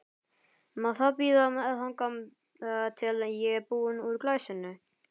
Má það bíða þangað til ég er búin úr glasinu?